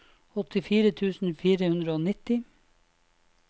åttifire tusen fire hundre og nitti